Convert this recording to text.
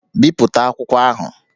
Bipụta akwụkwọ ahụ!